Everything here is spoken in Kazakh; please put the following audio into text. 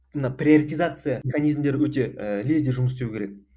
мына приоритезация механизмдері өте ііі лезде жұмыс істеу керек